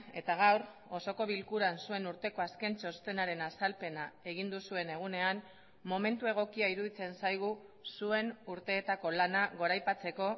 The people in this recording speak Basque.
eta gaur osoko bilkuran zuen urteko azken txostenaren azalpena egin duzuen egunean momentu egokia iruditzen zaigu zuen urteetako lana goraipatzeko